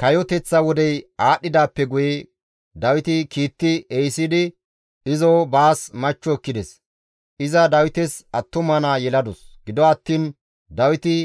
Kayoteththa wodey aadhdhidaappe guye Dawiti kiitti ehisidi izo baas machcho ekkides; iza Dawites attuma naa yeladus; gido attiin Dawiti